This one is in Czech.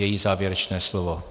Její závěrečné slovo.